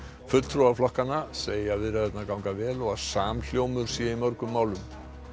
fulltrúar flokkanna segja viðræðurnar ganga vel og að samhljómur sé í mörgum málum